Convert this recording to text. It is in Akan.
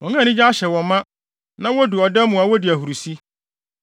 wɔn a anigye ahyɛ wɔn ma na wodu ɔda mu a wodi ahurusi.